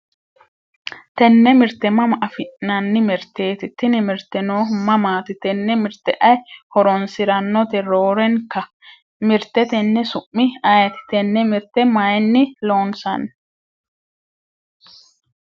tenne mirte mama afi'nanni mirteeti? tini mirte noohu mamaati? tene mirte ayi horonsiranote roorenka? mirte tenne su'mi ayeeti? tenne mirte mayiinni loonsanni?